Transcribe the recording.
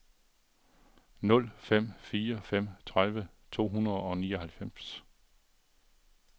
nul fem fire fem tredive to hundrede og nioghalvfems